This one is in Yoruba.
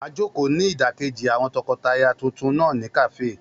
A jòkó ní ìdákéjì àwọn tọkọtaya tuntun náà ní kàáfè